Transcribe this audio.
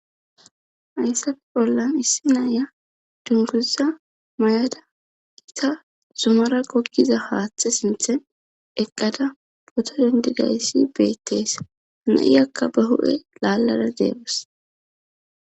Hayssafe bollan issi naaya dunguza mayada ita zumara gokkiza haaththe sinthen eqqada poto dendi gayssi beittees naiyakka ba hu'e laallara deebas.